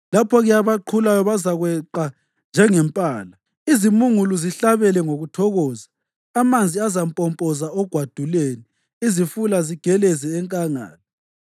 Lapho-ke abaqhulayo bazakweqa njengempala, izimungulu zihlabele ngokuthokoza. Amanzi azampompoza ogwaduleni, izifula zigeleze enkangala.